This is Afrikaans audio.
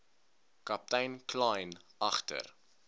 kaptein kleyn agter